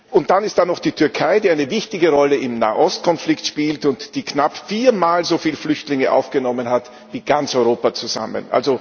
Und dann ist da noch die Türkei, die eine wichtige Rolle im Nahostkonflikt spielt und die knapp vier Mal so viele Flüchtlinge aufgenommen hat wie ganz Europa zusammen.